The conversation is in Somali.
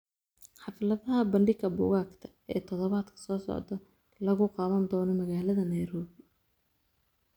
Xafladaha bandhiga buugaagta ee todobaadka soo socda lagu qaban doono magaalada nairobi